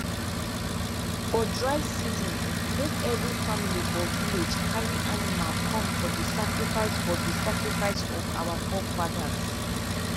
for dry season make every family for village carry animal come for the sacrifice for the sacrifice of our forefathers